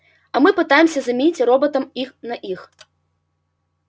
а мы пытаемся заменить роботом их на их